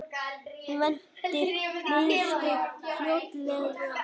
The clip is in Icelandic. Væntir niðurstöðu fljótlega